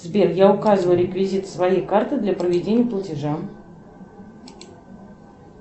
сбер я указываю реквизиты своей карты для проведения платежа